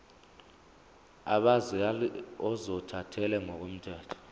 abazali ozothathele ngokomthetho